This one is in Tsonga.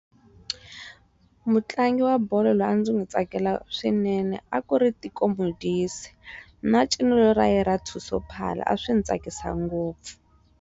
Mutlangi wa bolo loyi a ndzi n'wi tsakela swinene a ku ri Teko Modise na ncino ra yena ra Thuso phala a swi ni tsakisa ngopfu.